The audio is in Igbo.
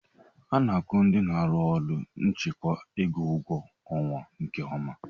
A na-akwu ndị n'arụ n'ụlọ nchekwa ego ụgwọ ọnwa nke ọma.